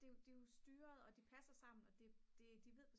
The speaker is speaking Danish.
det jo styret og det passer sammen og de ved